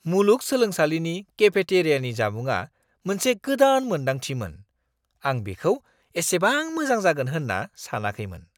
मुलुगसोलोंसालिनि केफेटेरियानि जामुंआ मोनसे गोदान मोनदांथिमोन। आं बेखौ एसेबां मोजां जागोन होन्ना सानाखैमोन।